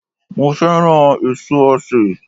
Mo fẹ́ràn èso osè